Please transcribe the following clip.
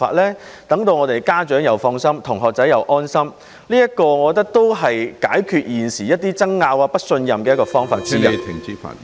此舉能讓家長放心，也讓同學安心，亦是解決現時一些爭拗和不信任的方法之一......